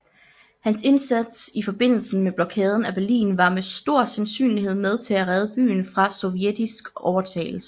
Hans indsats i forbindelse med Blokaden af Berlin var med stor sandsynlighed med til at redde byen fra sovjetisk overtagelse